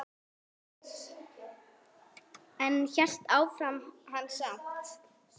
En áfram hélt hann samt.